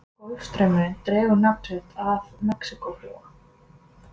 golfstraumurinn dregur nafn sitt af mexíkóflóa